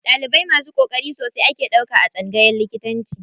Ɗalibai masu ƙoƙari sosai ake ɗauka a tsangayan likitanci.